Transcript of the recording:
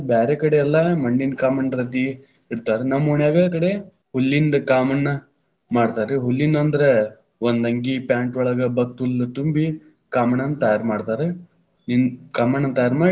ಬ್ಯಾರೆಕಡೆ ಎಲ್ಲಾ ಮಣ್ಣಿನ ಕಾಮಣ್ಣ ರತಿ ಇಡ್ತಾರ, ನಮ್ಮ ಓಣ್ಯಾಗ ಕಡೆ ಹುಲ್ಲಿಂದ ಕಾಮಣ್ಣ ಮಾಡ್ತಾರ್ರಿ, ಹುಲ್ಲಿಂದಂದ್ರ ಒಂದ ಅಂಗಿ, ಪ್ಯಾಂಟೊಳಗ ಭತ್ತಹುಲ್ಲ ತುಂಬಿ ಕಾಮಣ್ಣನ ತಯಾರ ಮಾಡ್ತಾರ, ಇ ಕಾಮಣ್ಣನ ತಯಾರಮಾಡಿ.